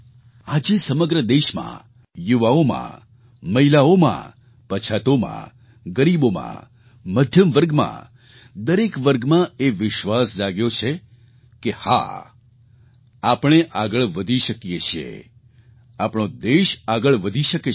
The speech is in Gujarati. આજે સમગ્ર દેશમાં યુવાઓમાં મહિલાઓમાં પછાતોમાં ગરીબોમાં મધ્યમ વર્ગમાં દરેક વર્ગમાં એ વિશ્વાસ જાગ્યો છે કે હા આપણે આગળ વધી શકીએ છીએ આપણો દેશ આગળ વધી શકે છે